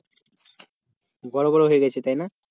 গোল গোল হয়ে গেছে তাই না?